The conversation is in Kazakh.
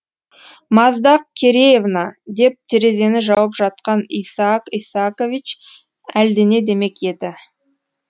маздақ кереевна деп терезені жауып жатқан исаак исаакович әлдене демек еді